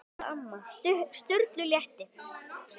Sturlu létti.